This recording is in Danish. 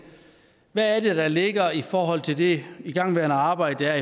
hvad det er der ligger i forhold til det igangværende arbejde der